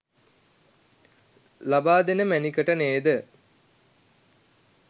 ලබා දෙන මැණිකට නේද?